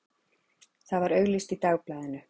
Það var auglýst í Dagblaðinu.